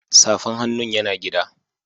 Safan hannun ya na gida.